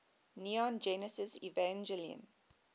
neon genesis evangelion